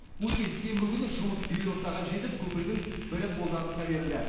өткен сенбі күні жұмыс бел ортаға жетіп көпірдің бірі қолданысқа берілді